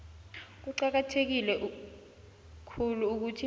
kuqakatheke khulu ukuthi